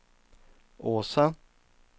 Åsa